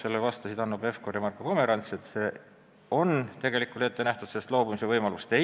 Sellele vastasid Hanno Pevkur ja Marko Pomerants, et see on ette nähtud, sellest loobumise võimalust ei ole.